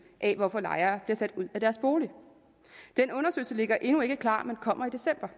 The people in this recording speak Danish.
af hvorfor lejere bliver sat ud af deres bolig den undersøgelse ligger endnu ikke klar men kommer i december